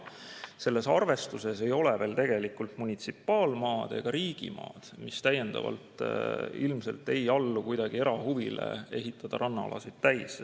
Ja selles arvestuses ei ole veel tegelikult munitsipaalmaad ega riigimaad, mis täiendavalt ilmselt ei allu kuidagi erahuvile rannaalad täis ehitada.